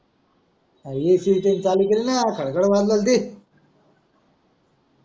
AC जर चालू केली ना आता गव्हा जल्दी